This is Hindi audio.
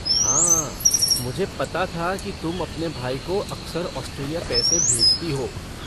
हाँ मुझे पता था कि तुम अपने भाई को अक्सर ऑस्ट्रेलिया पैसे भेजती हो।